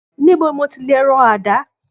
Níbo ni mo ti lè rọ àdá?